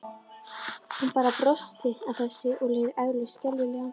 Hún bara brosti að þessu en leið eflaust skelfilega.